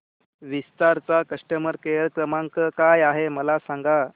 विस्तार चा customer care क्रमांक काय आहे मला सांगा